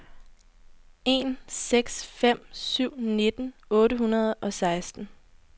en seks fem syv nitten otte hundrede og seksten